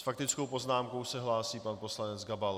S faktickou poznámkou se hlásí pan poslanec Gabal.